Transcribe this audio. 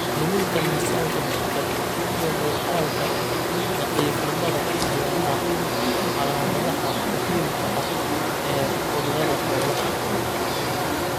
Luminta miisaanka jidhka iyo muuqaalka daciifnimada ayaa ah calaamadaha muhiimka ah ee cudurrada xoolaha.